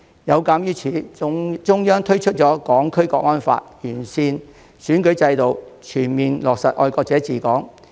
有鑒於此，中央推出《香港國安法》、完善選舉制度，全面落實"愛國者治港"。